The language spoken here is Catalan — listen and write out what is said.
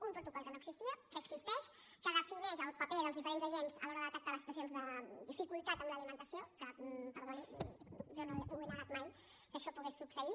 un protocol que no existia que existeix que defineix el paper dels diferents agents a l’hora de detectar les situacions de dificultat en l’alimentació que perdoni jo no he negat mai que això pogués succeir